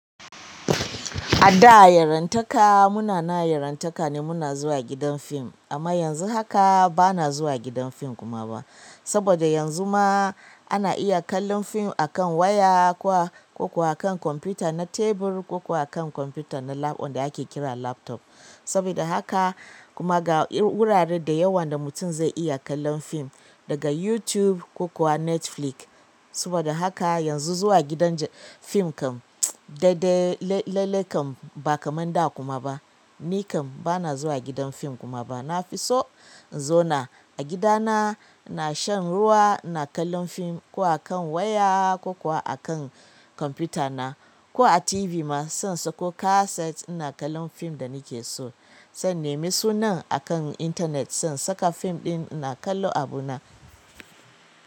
A da yarantaka muna na yarantaka ne muna zuwa gidan fim amma yanzu haka bana zuwa gidan fim kuma ba. Saboda yanzu ma ana iya kallon fim akan waya ko kuwa akan kwamfuta na tebur ko kuwa akan kwamfuta na lab on da ake kira laptop. Sabida haka kuma ga wurare da yawan da mutum zai iya kallon fim daga YouTube ko kuwa Netflix. Saboda haka yanzu zuwa gidan fim kam daidai lallai kam ba kamar da kuma ba. Ni kam bana zuwa gidan fim kuma ba. Nafi so in zauna agidana ina shan ruwa ina kallon fim ko akan waya ko kuwa akan computer na ko a tv ma saina sako kaset da nake so zan nemi sunan a kan intanet, zan saka fim ɗin na kallo a buna.